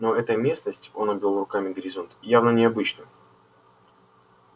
но эта местность он обвёл руками горизонт явно необычна